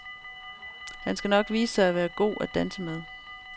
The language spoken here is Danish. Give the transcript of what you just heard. Han skal nok vise sig at være god at danse med.